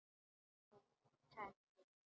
Já, Tengdi minn.